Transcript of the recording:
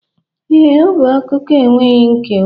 Ee, ọ bụ akụkọ enweghị nkewa